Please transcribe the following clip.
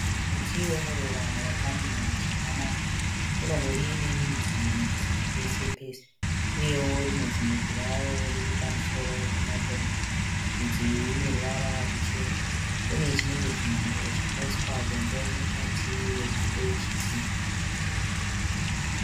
Muti wemuruva wakamira zvakanaka unongori nemidzi midzi pese pese, uyewo rimwe zimudzi raro riri pamusoro pematombo. Midzi iyi ine ruvara ruchena. Une chinenge chimhango chakaiswa dombo mukati remhando yechidhina.